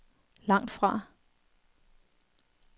langtfra